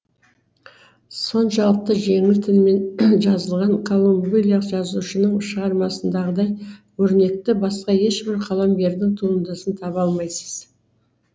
соншалықты жеңіл тілмен жазылған колумбилялық жазушының шығармасындағыдай өрнекті басқа ешбір қаламгердің туындысын таба алмайсыз